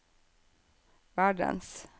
verdens